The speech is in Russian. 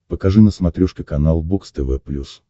покажи на смотрешке канал бокс тв плюс